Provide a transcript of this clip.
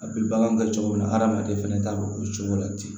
A bɛ bagan kɛ cogo min na adamaden fɛnɛ ta bɛ o cogo la ten